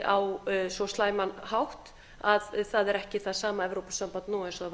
á svo slæman hátt að það er ekki það sama evrópusamband nú eins og